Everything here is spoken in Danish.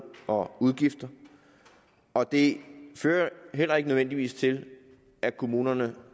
og udgifter og det fører heller ikke nødvendigvis til at kommunerne